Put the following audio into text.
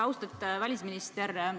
Austatud välisminister!